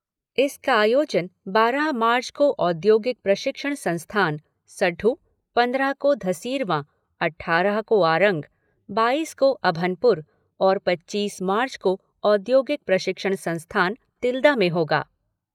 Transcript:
इसका आयोजन बारह मार्च को औद्योगिक प्रशिक्षण संस्थान सड्ढे, पंद्रह को धरसींवा, अट्ठारह को आरंग, बाईस को अभनपुर और पच्चीस मार्च को औद्योगिक प्रशिक्षण संस्थान तिल्दा में होगा।